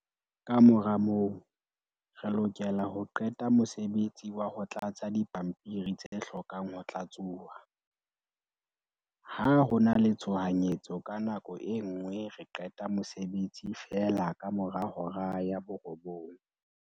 "Kamora moo, re lokela ho qeta ka mosebetsi wa ho tlatsa dipampiri tse hlokang ho tlatsuwa. Ha ho na le tshohanyetso ka nako e nngwe re qeta mosebetsi feela kamora hora ya 21:00."